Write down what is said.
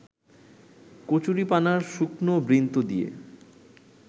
কচুরিপানার শুকনো বৃন্ত দিয়ে